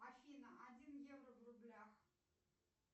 афина один евро в рублях